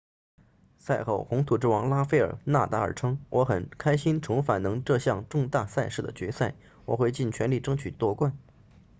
赛后红土之王拉斐尔纳达尔称我很开心重返能这项重大赛事的决赛我会尽全力争取夺冠